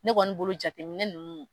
Ne kɔni bolo jateminɛ ninnu